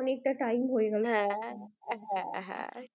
অনেকটা time হয়ে গেল।